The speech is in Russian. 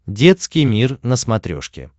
детский мир на смотрешке